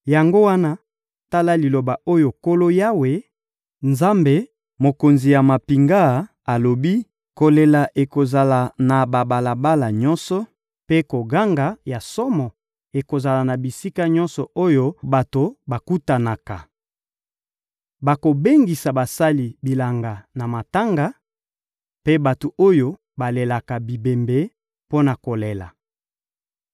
Yango wana, tala liloba oyo Nkolo, Yawe, Nzambe, Mokonzi ya mampinga, alobi: «Kolela ekozala na babalabala nyonso, mpe koganga ya somo ekozala na bisika nyonso oyo bato bakutanaka. Bakobengisa basali bilanga na matanga, mpe bato oyo balelaka bibembe mpo na kolela.